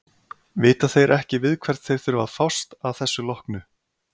Vita þeir ekki við hvern þeir þurfa að fást að þessu loknu?